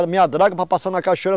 minha draga para passar na Cachoeira.